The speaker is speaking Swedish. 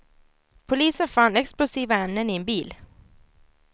Polisen fann explosiva ämnen i en bil.